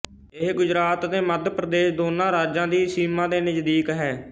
ਇਹ ਗੁਜਰਾਤ ਅਤੇ ਮੱਧ ਪ੍ਰਦੇਸ਼ ਦੋਨਾਂ ਰਾਜਾਂ ਦੀ ਸੀਮਾ ਦੇ ਨਜ਼ਦੀਕ ਹੈ